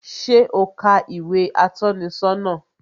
Ṣé o ka ìwé atọ́ni sọ́nà?